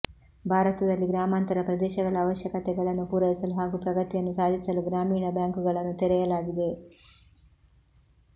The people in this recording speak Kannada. ಭಾರತದಲ್ಲಿ ಗ್ರಾಮಾಂತರ ಪ್ರದೇಶಗಳ ಅವಶ್ಯಕತೆಗಳನ್ನು ಪೂರೈಸಲು ಹಾಗೂ ಪ್ರಗತಿಯನ್ನು ಸಾಧಿಸಲು ಗ್ರಾಮೀಣ ಬ್ಯಾಂಕುಗಳನ್ನು ತೆರೆಯಲಾಗಿದೆ